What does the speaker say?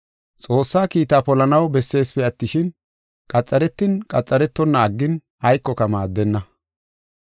Xoossa kiitaa polanaw besseesipe attishin, qaxaretin qaxaretonna aggin aykoka maaddenna.